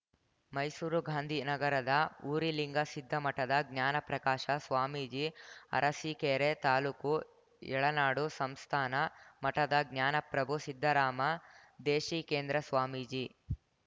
ಮೈಸೂರು ಗಾಂಧೀ ನಗರದ ಉರಿಲಿಂಗ ಸಿದ್ಧಿ ಮಠದ ಜ್ಞಾನ ಪ್ರಕಾಶ ಸ್ವಾಮೀಜಿ ಅರಸೀಕೆರೆ ತಾಲೂಕು ಯಳನಾಡು ಸಂಸ್ಥಾನ ಮಠದ ಜ್ಞಾನಪ್ರಭು ಸಿದ್ಧರಾಮ ದೇಶಿಕೇಂದ್ರ ಸ್ವಾಮೀಜಿ